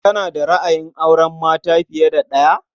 Kana da ra'ayin auren mata fiye da ɗaya?